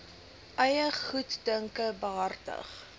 eie goeddunke behartig